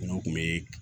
N'o kun be